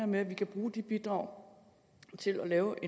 med at vi kan bruge de bidrag til at lave